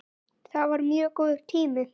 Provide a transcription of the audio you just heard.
Það var mjög góður tími.